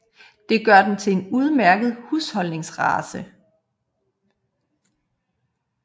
Det gør den til en udmærket husholdningsrace